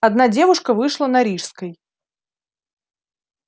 одна девушка вышла на рижской